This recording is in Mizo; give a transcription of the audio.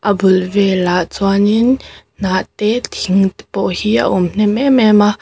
a bul velah chuanin hnah te thing te pawh hi a awm hnem em em a--